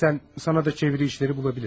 İstərsən sənə də çeviri işləri bulabilirəm.